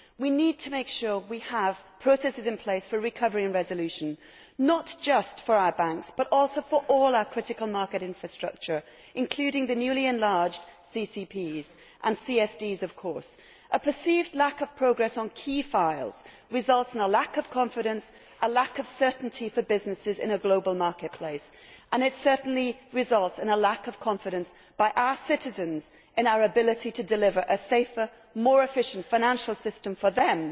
We need to make sure we have processes in place for recovery and resolution, not just for our banks but also for all our critical market infrastructure, including the newly enlarged CCPs and CSDs. A perceived lack of progress on key files results in a lack of confidence and a lack of certainty for businesses in a global marketplace, and it certainly results in a lack of confidence from our citizens in our ability to deliver a safer, more efficient financial system for them.